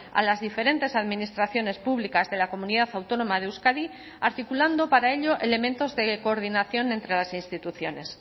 a las diferentes administraciones públicas de la comunidad autónoma de euskadi articulando para ello elementos de coordinación entre las instituciones